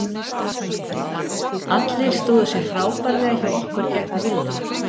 Allir stóðu sig frábærlega hjá okkur gegn Villa.